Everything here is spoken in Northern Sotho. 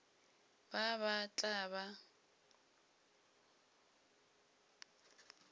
ba ba ba tla ba